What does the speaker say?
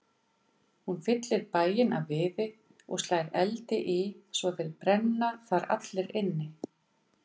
Hún fyllir bæinn af viði og slær eldi í svo þeir brenna þar allir inni.